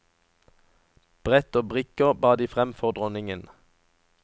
Brett og brikker bar de fram for dronningen.